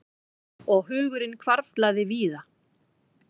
Og hugurinn hvarflaði víða.